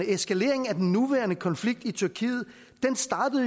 eskaleringen af den nuværende konflikt i tyrkiet